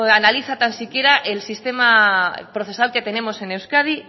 analiza tan siquiera el sistema procesal que tenemos en euskadi